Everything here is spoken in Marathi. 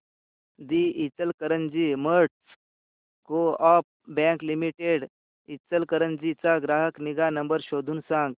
दि Ichalkaranji merchants coop bank limited Ichalkaranji चा ग्राहक निगा नंबर शोधून सांग